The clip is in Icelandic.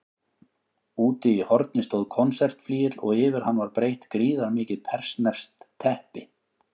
Úti í horni stóð konsertflygill og yfir hann var breitt gríðarmikið persneskt teppi.